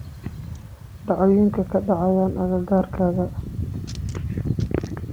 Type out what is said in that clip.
Dhacdooyinkee ka dhacaya agagaarkayga?